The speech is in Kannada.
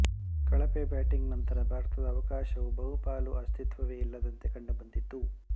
ಕಳಪೆ ಬ್ಯಾಟಿಂಗ್ ನಂತರ ಭಾರತದ ಅವಕಾಶವು ಬಹುಪಾಲು ಅಸ್ತಿತ್ವವೇ ಇಲ್ಲದಂತೆ ಕಂಡುಬಂದಿತ್ತು